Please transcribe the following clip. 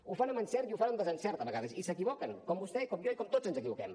ho fan amb encert i ho fan amb desencert a vegades i s’equivoquen com vostè com jo i com tots ens equivoquem